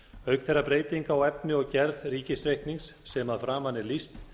auk þeirra breytinga á efni og gerð ríkisreiknings sem að framan er lýst